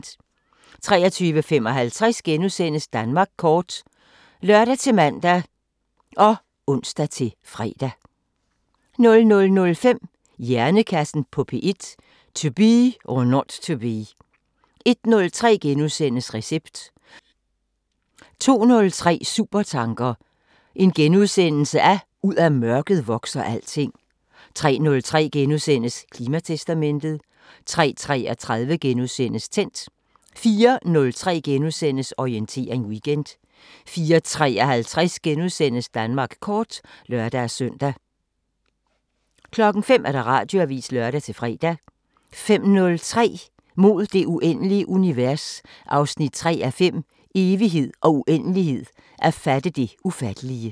23:55: Danmark kort *(lør-man og ons-fre) 00:05: Hjernekassen på P1: To be or not to be 01:03: Recept * 02:03: Supertanker: Ud af mørket vokser alting * 03:03: Klimatestamentet * 03:33: Tændt * 04:03: Orientering Weekend * 04:53: Danmark kort *(lør-søn) 05:00: Radioavisen (lør-fre) 05:03: Mod det uendelige univers 3:5 – Evighed og uendelighed – at fatte det ufattelige